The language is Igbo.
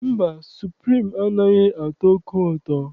Mba, suprim anaghị atọ oke ụtọ.